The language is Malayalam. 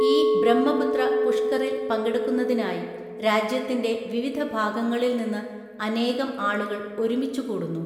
ഈ ബ്രഹ്മപുത്ര പുഷ്കറില്‍ പങ്കെടുക്കുന്നതിനായി രാജ്യത്തിന്‍റെ വിവിധ ഭാഗങ്ങളില്‍ നിന്ന് അനേകം ആളുകള്‍ ഒരുമിച്ചുകൂടുന്നു.